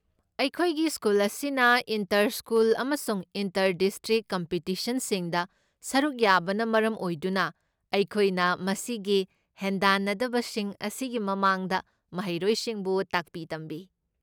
ꯑꯩꯈꯣꯏꯒꯤ ꯁ꯭ꯀꯨꯜ ꯑꯁꯤꯅ inter school ꯑꯃꯁꯨꯡ ꯏꯟꯇꯔ ꯗꯤꯁꯇ꯭ꯔꯤꯛ ꯀꯝꯄꯤꯇꯤꯁꯟꯁꯤꯡꯗ ꯁꯔꯨꯛ ꯌꯥꯕꯅ ꯃꯔꯝ ꯑꯣꯏꯗꯨꯅ, ꯑꯩꯈꯣꯏꯅ ꯃꯁꯤꯒꯤ ꯍꯦꯟꯗꯥꯟꯅꯕꯁꯤꯡ ꯑꯁꯤꯒꯤ ꯃꯃꯥꯡꯗ ꯃꯍꯩꯔꯣꯏꯁꯤꯡꯕꯨ ꯇꯥꯛꯄꯤ ꯇꯝꯕꯤ꯫